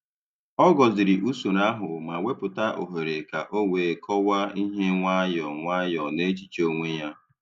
Ọ gọ̀zìrì usoro ahụ, ma wepụta ohere ka o wee kọwaa ihe nwayọ nwayọ n’echiche onwe ya.